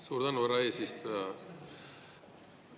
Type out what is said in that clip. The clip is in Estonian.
Suur tänu, härra eesistuja!